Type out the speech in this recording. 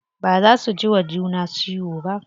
Baza su jiwa juna ciwo ba.